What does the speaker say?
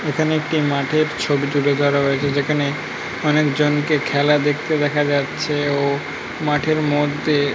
এখানে একটি মাঠের ছবি তুলে ধরা হয়েছে যেখানে অনেক জনকে খেলা দেখতে দেখা যাচ্ছে ও মাঠের মধ্যে--